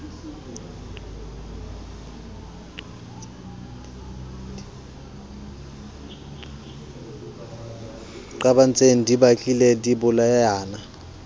qabantseng di batlile di bolayana